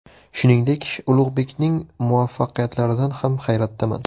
Shuningdek, Ulug‘bekning muvaffaqiyatlaridan ham hayratdaman.